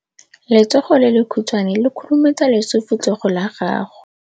Letsogo le lekhutshwane le khurumetsa lesufutsogo la gago.